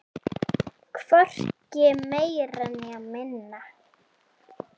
Hvorki meira né minna